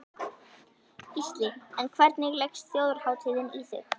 Gísli: En hvernig leggst Þjóðhátíðin í þig?